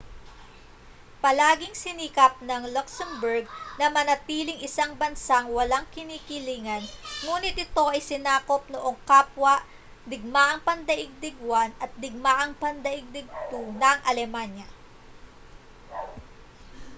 palaging sinikap ng luxembourg na manatiling isang bansang walang kinikilingan nguni't ito ay sinakop noong kapwa digmaang pandaigdig i at digmaang pandaigdig ii ng alemanya